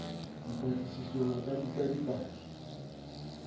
dipatlisisong a ka bitsa dipaki